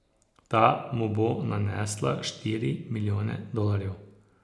Ta mu bo nanesla štiri milijone dolarjev.